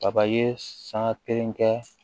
Papaye san kelen kɛ